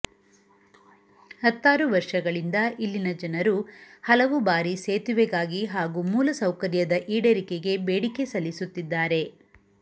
ಹತ್ತಾರು ವರ್ಷಗಳಿಂದ ಇಲ್ಲಿನ ಜನರು ಹಲವು ಬಾರಿ ಸೇತುವೆಗಾಗಿ ಹಾಗೂ ಮೂಲ ಸೌಕರ್ಯದ ಈಡೇರಿಕೆಗೆ ಬೇಡಿಕೆ ಸಲ್ಲಿಸುತ್ತಿದ್ದಾರೆ